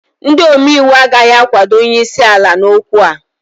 ndị omeiwu agaghị akwado onye isi ala n'okwu a